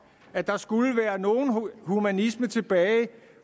at der skulle være nogen humanisme tilbage